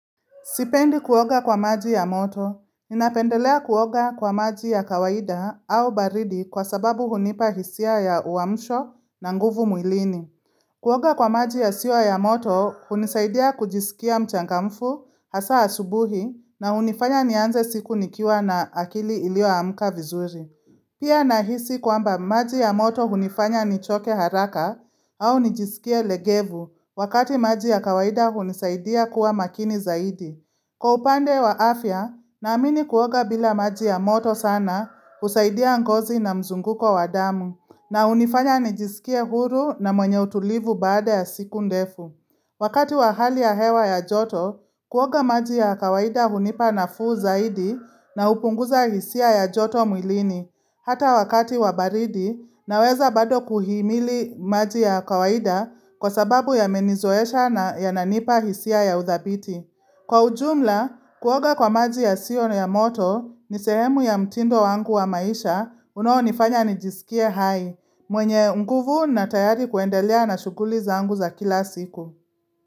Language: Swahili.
Sipendi kuoga kwa maji ya moto, ninapendelea kuoga kwa maji ya kawaida au baridi kwa sababu hunipa hisia ya uamsho na nguvu mwilini. Kuoga kwa maji yasiyo ya moto, hunisaidia kujisikia mchangamfu hasa asubuhi na hunifanya nianze siku nikiwa na akili iliyoamka vizuri. Pia nahisi kwamba maji ya moto hunifanya nichoke haraka au nijisikie legevu wakati maji ya kawaida hunisaidia kuwa makini zaidi. Kwa upande wa afya, naamini kuoga bila maji ya moto sana husaidia ngozi na mzunguko wa damu, na hunifanya nijisikie huru na mwenye utulivu baada ya siku ndefu. Wakati wa hali ya hewa ya joto, kuoga maji ya kawaida hunipa nafuu zaidi na hupunguza hisia ya joto mwilini, hata wakati wa baridi naweza bado kuhimili maji ya kawaida kwa sababu yamenizoesha na yananipa hisia ya uthabiti. Kwa ujumla, kuoga kwa maji yasiyo na ya moto ni sehemu ya mtindo wangu wa maisha unaonifanya nijisikie hai mwenye nguvu na tayari kuendelea na shuguli zangu za kila siku.